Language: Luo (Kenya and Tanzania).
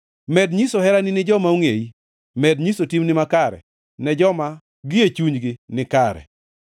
Med nyiso herani ni joma ongʼeyi, med nyiso timni makare ne joma gie chunygi ni kare.